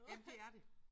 Jamen det er det